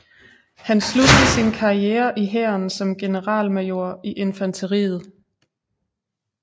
Han sluttede sin karriere i Hæren som generalmajor i infanteriet